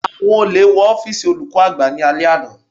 Àwọn olè wọ ọ́fìsì olùkọ́ àgbà ní alẹ́ àná.